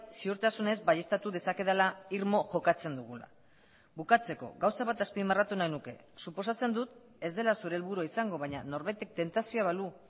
ziurtasunez baieztatu dezakedala irmo jokatzen dugula bukatzeko gauza bat azpimarratu nahi nuke suposatzen dut ez dela zure helburua izango baina norbaitek tentazioa balu